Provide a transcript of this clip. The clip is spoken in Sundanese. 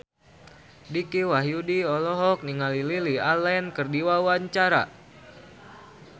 Dicky Wahyudi olohok ningali Lily Allen keur diwawancara